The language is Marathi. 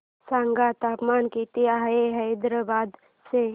सांगा तापमान किती आहे हैदराबाद चे